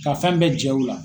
Ka fɛn bɛɛ jɛ u la.